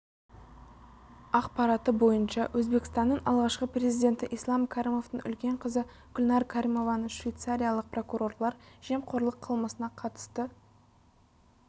ақпараты бойынша өзбекстанның алғашқы президенті ислам кәрімовтің үлкен қызы гүлнәр кәрімованы швейцариялық прокурорлар жемқорлық қылмысына қатысты